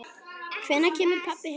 Hvenær kemur pabbi heim?